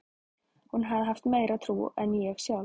Hún hafði haft meiri trú en ég sjálf.